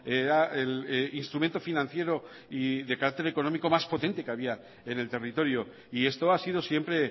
era el instrumento financiero y de carácter económico más potente que había en el territorio y esto ha sido siempre